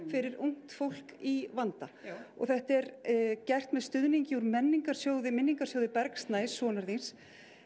fyrir ungt fólk í vanda já og þetta er gert með stuðningi úr minningarsjóði minningarsjóði Bergs Snæs sonar þíns